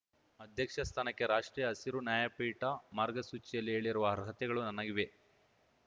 ಅಧ್ಯಕ್ಷ ಸ್ಥಾನಕ್ಕೆ ರಾಷ್ಟ್ರೀಯ ಹಸಿರು ನ್ಯಾಯಪೀಠ ಮಾರ್ಗಸೂಚಿಯಲ್ಲಿ ಹೇಳಿರುವ ಅರ್ಹತೆಗಳು ನನಗಿವೆ